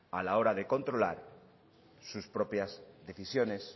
a la hora de controlar sus propias decisiones